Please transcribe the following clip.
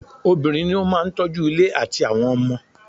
Obìnrin ní o máà tọ́ju ilé àtí àwọn ọmọ.